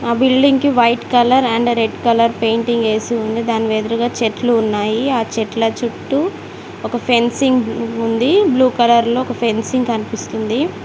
ఆ బిల్డింగ్ కి white colour and red colour painting వేసి ఉంది దాని ఎదురుగా చెట్లు ఉన్నాయి ఆ చెట్ల చుట్టూ ఒక ఫెన్సింగ్ ఉంది బ్లూ కలర్ లో ఒక ఫెన్సింగ్ కనిపిస్తుంది.